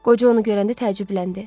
Qoca onu görəndə təəccübləndi.